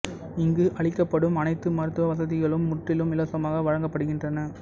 இங்கு அளிக்கப்படும் அனைத்து மருத்துவ வசதிகளும் முற்றிலும் இலவசமாக வழங்கப்படுகின்றன